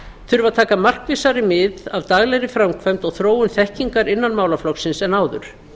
þurfa að taka markvissari mið af daglegri framkvæmd og þróun þekkingar innan málaflokksins en áður